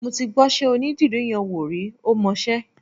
Mo ti gbọ́ṣẹ́ onídìrí yẹn wò rí, ó mọṣẹ́.